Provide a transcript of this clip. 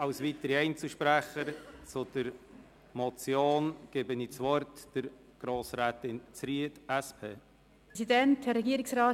Als weiterer Einzelsprecherin gebe ich Grossrätin Zryd von der SP das Wort.